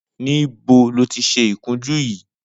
Nibó lóti ṣé ikùnjù yi?